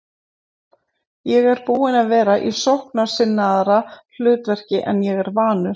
Ég er búinn að vera í sóknarsinnaðra hlutverki en ég er vanur.